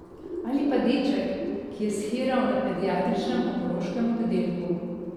Ali pa deček, ki je shiral na pediatričnem onkološkem oddelku.